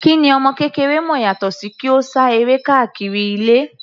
Kí ni ọmọ kékeré mọ̀ yàtọ sí kí ó sá eré káàkiri ilé.